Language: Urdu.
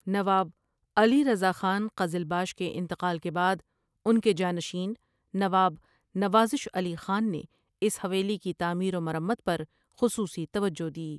نواب علی رضا خان قزلباش کے انتقال کے بعد ان کے جانشین نواب نوازش علی خان نے اس حویلی کی تعمیر و مرمت پر خصوصی توجہ دی ۔